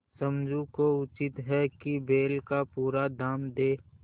समझू को उचित है कि बैल का पूरा दाम दें